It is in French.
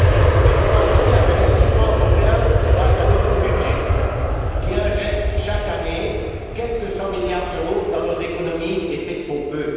Mais je crois aussi à l'investissement européen que permet notre budget qui injecte, chaque année, quelque 100 milliards d'euros dans nos économies, et c'est trop peu!